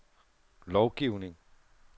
lovgivning